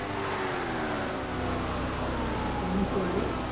অনুসৰি